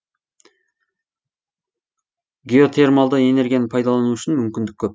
геотермалды энергияны пайдалану үшін мүмкіндік көп